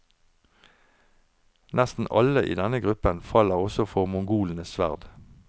Nesten alle i denne gruppen faller også for mongolenes sverd.